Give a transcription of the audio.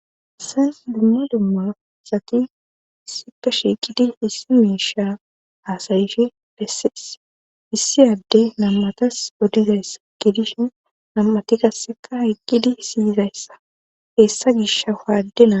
Haysan dumma dumma sati issippe shiiqidi issi miisha aasayishi bessees issi adde nam7atas odizayssa gidishen nam7ati gasseka haqqidi siyizayssa heessa gish ha waadina